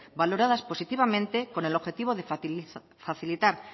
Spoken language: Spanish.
valoradas positivamente con el objetivo de facilitar